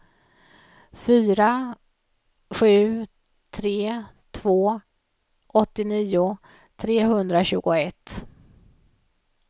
fyra sju tre två åttionio trehundratjugoett